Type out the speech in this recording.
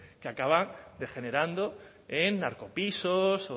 que acaba degenerando en narcopisos